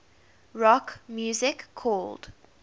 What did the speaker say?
rock music called